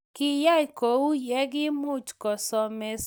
Kiyay ko uu ye kimuch kosomeshan lakok chii tugul.